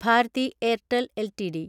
Bharti Airtel LTD